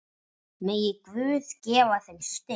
Megi Guð gefa þeim styrk.